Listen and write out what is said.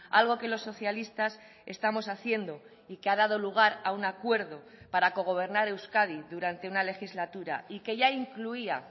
algo que los socialistas estamos haciendo y que ha dado lugar a un acuerdo para cogobernar euskadi durante una legislatura y que ya incluía